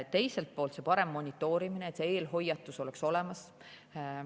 Teiselt poolt on parem monitoorimine, et see eelhoiatus oleks olemas.